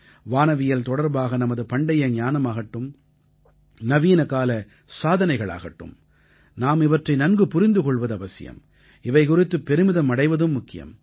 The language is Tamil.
வானவியல் தொடர்பாக நமது பண்டைய ஞானமாகட்டும் நவீனகால சாதனைகளாகட்டும் நாம் இவற்றை நன்கு புரிந்து கொள்வதும் அவசியம் இவை குறித்து பெருமிதம் அடைவதும் முக்கியம்